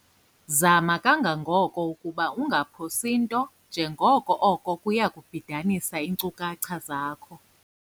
Zama kangangoko ukuba ungaphosi nto njengoko oko kuya kubhidanisa iinkcukacha zakho.